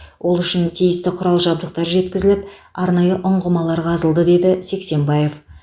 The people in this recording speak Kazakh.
ол үшін тиісті құрал жабдықтар жеткізіліп арнайы ұңғымалар қазылды деді сексенбаев